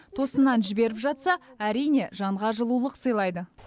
тосыннан жіберіп жатса әрине жанға жылулық сыйлайды